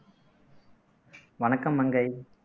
வணக்கம் மங்கை